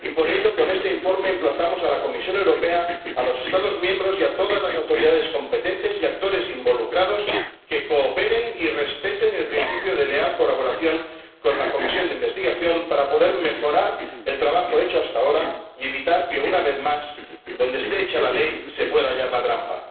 Y, por ello, con este informe emplazamos a la Comisión Europea, a los Estados miembros y a todas las autoridades competentes y actores involucrados a que cooperen y respeten el principio de leal colaboración con la comisión de investigación, para poder mejorar el trabajo hecho hasta ahora y evitar que, una vez más, donde esté hecha la ley, se pueda hallar la trampa.